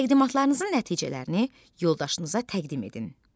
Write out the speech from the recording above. Təqdimatlarınızın nəticələrini yoldaşınıza təqdim edin.